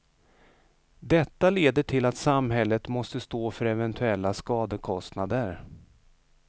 Detta leder till att samhället måste stå för eventuella skadekostnader.